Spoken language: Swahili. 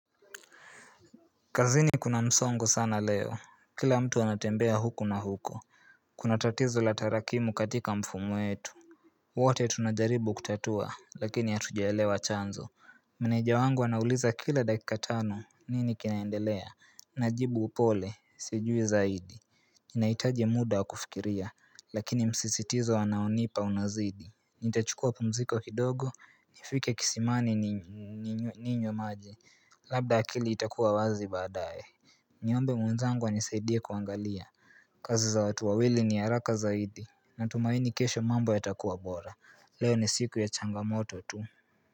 Kazini kuna msongo sana leo Kila mtu anatembea huku na huko Kuna tatizo la tarakimu katika mifumo yetu wote tunajaribu kutatua lakini atujaelewa chanzo Maneja wangu anauliza kila dakika tano nini kinaendelea Najibu upole sijui zaidi Ninaitaji muda kufikiria lakini msisitizo anaonipa unazidi Nitachukua pumziko kidogo nifike kisimani ninywe maji Labda akili itakuwa wazi baadaye Niombe mwenzangu anisaidie kuangalia kazi za watu wawili ni araka zaidi Natumaini kesho mambo yatakuwa bora Leo ni siku ya changamoto tu.